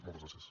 moltes gràcies